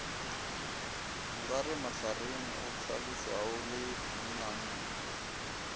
nkaremahlareng o hlalošwae le monnanna